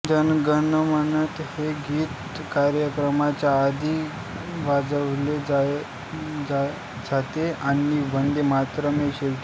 जनगणमन हे गीत कार्यक्रमाच्या आधी वाजवलेगायले जाते आणि वंदे मातरम् हे शेवटी